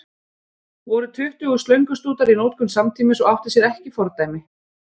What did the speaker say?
Voru tuttugu slöngustútar í notkun samtímis og átti sér ekki fordæmi.